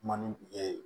Ma ni ee